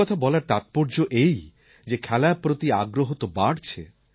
এই কথা বলার তাৎপর্য এই যে খেলার প্রতি আগ্রহ তো বাড়ছে